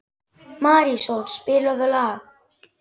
Marísól, spilaðu lag.